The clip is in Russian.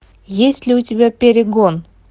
есть ли у тебя перегон